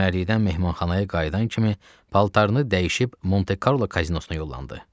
Çimərlikdən mehmanxanaya qayıdan kimi paltarını dəyişib Monte Karlo kazinosuna yollandı.